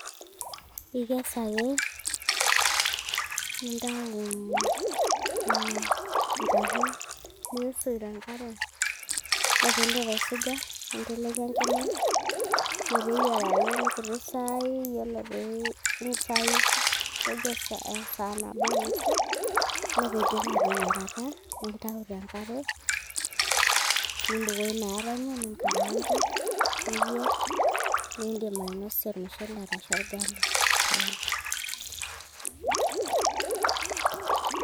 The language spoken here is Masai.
Ikes ake nintayu nena nchahe, niisuj tenkare ore peindip aisuja ninteleiki enkima meteyiarayu nkuti saai yiolo pee tejo esaa nabo onusu, ore peidip aateyierata nintayu tenkare nimbukoo ina are enye ninkaraanka niyierr nindim ainosie olmushele arashu olgali.